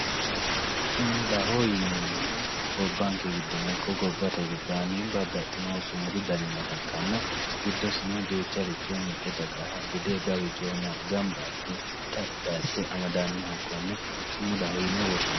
sumudaho yineemohu gobbanke giddono ikko gobbate gobbaanni babbaxino sumudu dani nooha ikkanna giddosino duucharicho mitte dagaha bude balchooma gamba asse xaphi asse amadannoha konne sumudaho yine woshshinanni.